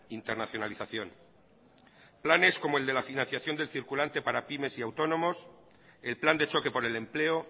internacionalización planes como el de la financiación del circulante para pymes y autónomos el plan de choque por el empleo